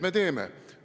Meie teeme.